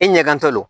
I ɲɛkantɔ